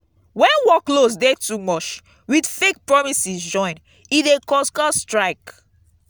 when workloads de too much with fake promises join e de cause cause strike